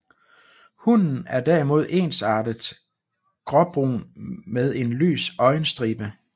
Hunnen er derimod ensartet gråbrun med en lys øjenstribe